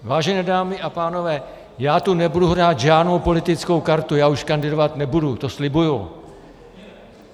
Vážené dámy a pánové, já tu nebudu hrát žádnou politickou kartu, já už kandidovat nebudu, to slibuji.